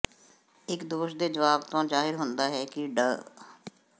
ਇਕ ਦੋਸ਼ ਦੇ ਜਵਾਬ ਤੋਂ ਜ਼ਾਹਿਰ ਹੁੰਦਾ ਹੈ ਕਿ ਡਾ